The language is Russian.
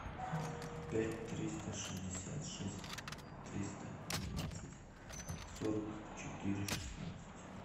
пять триста шестьдесят шесть триста двенадцать сорок четыре шестнадцать